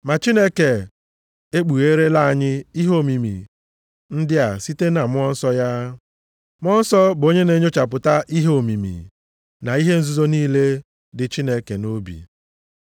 Ma Chineke e kpugherela anyị ihe omimi ndị a site na Mmụọ Nsọ ya. Mmụọ Nsọ bụ onye na-enyochapụta ihe omimi na ihe nzuzo niile dị Chineke nʼobi.